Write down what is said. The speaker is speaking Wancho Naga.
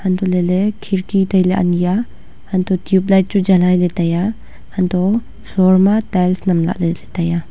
anto lah ley khirki tailey ani a antoh le tubelight chu jalai le tai a antoh floor ma tails nam lahle tai a.